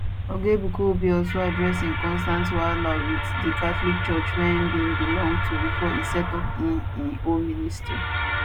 oga ebuka obi also address im constant wahala wit di catholic church wia im bin belong to bifor e set up im im own ministry